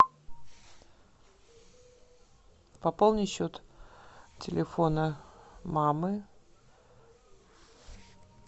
пополнить счет телефона мамы